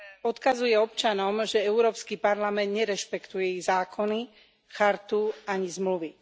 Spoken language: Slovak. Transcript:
Odkazuje občanom, že Európsky parlament nerešpektuje ich zákony, chartu ani zmluvy.